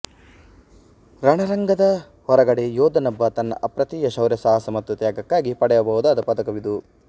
ರಣರಂಗದ ಹೊರಗಡೆ ಯೋಧನೊಬ್ಬ ತನ್ನ ಅಪ್ರತಿಮ ಶೌರ್ಯಸಾಹಸ ಮತ್ತು ತ್ಯಾಗಕ್ಕಾಗಿ ಪಡೆಯಬಹುದಾದ ಪದಕವಿದು